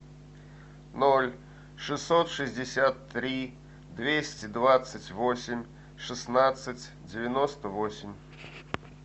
ноль шестьсот шестьдесят три двести двадцать восемь шестнадцать девяносто восемь